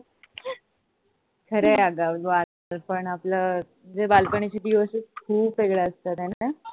खरं आहे अग अस वाटत पण जे बालपणीचे दिवस असतात ते खूप वेगळे असतात हाय न?